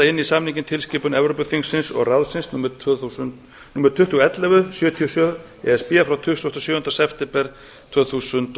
inn í samninginn tilskipun evrópuþingsins og ráðsins númer tvö þúsund og ellefu sjötíu og sjö e s b frá tuttugasta og sjöunda september tvö þúsund og